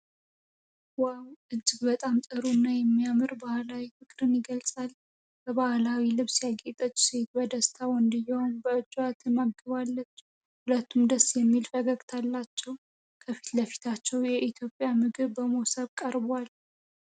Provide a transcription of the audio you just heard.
ዋው! እጅግ በጣም ጥሩ እና የሚያምር ባሕላዊ ፍቅር የገልጻል። በባሕላዊ ልብስ ያጌጠች ሴት በደስታ ወንድየውን በእጇ ትመግባለች። ሁለቱም ደስ የሚል ፈገግታ አላቸው። ከፊት ለፊታቸው የኢትዮጵያ ምግብ በሞሰብ ቀርቧል።